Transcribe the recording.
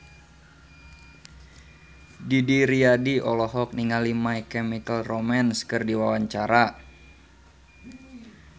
Didi Riyadi olohok ningali My Chemical Romance keur diwawancara